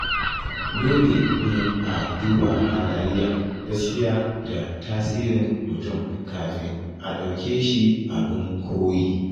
Dole ne a duba halayya, gaskiya, da tasirin mutum kafin a dauke shi abin koyi.